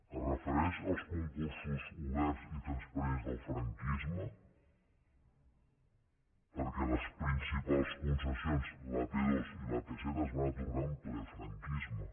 es refereix als concursos oberts i transparents del franquisme perquè les principals concessions l’ap dos i l’ap set es van atorgar en ple franquisme